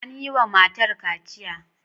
An yi wa matar kaciya.